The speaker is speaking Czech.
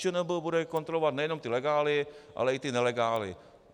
ČNB bude kontrolovat nejenom ty legály, ale i ty nelegály.